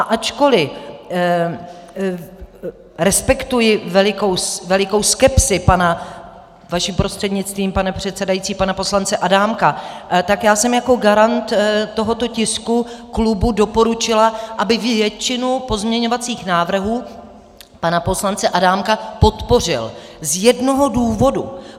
A ačkoli respektuji velikou skepsi pana, vašim prostřednictvím, pane předsedající, pana poslance Adámka, tak já jsem jako garant tohoto tisku klubu doporučila, aby většinu pozměňovacích návrhů pana poslance Adámka podpořil z jednoho důvodu.